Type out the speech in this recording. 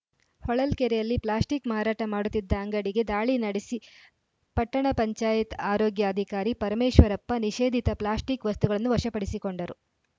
ಹೊಳಲ್ಕೆರೆಯಲ್ಲಿ plastic ಮಾರಾಟ ಮಾಡುತ್ತಿದ್ದ ಅಂಗಡಿಗೆ ದಾಳಿ ನಡೆಸಿ ಪಟ್ಟಣ ಪಂಚಾಯತ್ ಆರೋಗ್ಯಾಧಿಕಾರಿ ಪರಮೇಶ್ವರಪ್ಪ ನಿಷೇಧಿತ ಪ್ಲಾಸ್ಟಿಕ್‌ ವಸ್ತುಗಳನ್ನು ವಶಪಡಿಸಿಕೊಂಡರು